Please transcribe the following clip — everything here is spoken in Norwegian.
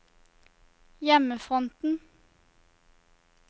hjemmefronten